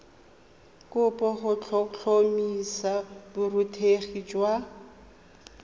kopo go tlhotlhomisa borutegi jwa